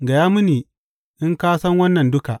Gaya mini, in ka san wannan duka.